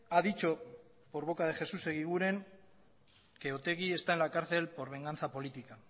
ha dicho por boca de jesús eguiguren que otegi está en la cárcel por venganza política